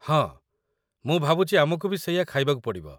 ହଁ, ମୁଁ ଭାବୁଚି ଆମକୁ ବି ସେଇଆ ଖାଇବାକୁ ପଡ଼ିବ ।